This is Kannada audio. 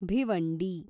ಭಿವಂಡಿ